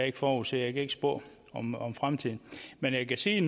ikke forudse jeg kan ikke spå om om fremtiden men jeg kan sige